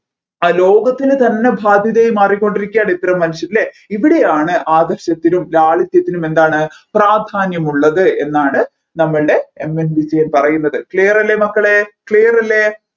ആ ലോകത്തിന് തന്നെ ബാധ്യതയായ് മാറികൊണ്ടിരിക്കയാണ് ഇത്തരം മനുഷ്യൻ അല്ലെ ഇവിടെയാണ് ആദർശത്തിനും ലാളിത്യത്തിനും എന്താണ് പ്രാധാന്യം ഉള്ളത് എന്നാണ് നമ്മൾടെ MN വിജയൻ പറയുന്നത് clear അല്ലെ മക്കളെ clear അല്ലെ